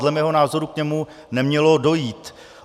Dle mého názoru k němu nemělo dojít.